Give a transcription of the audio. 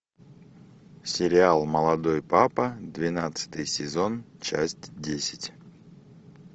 сериал молодой папа двенадцатый сезон часть десять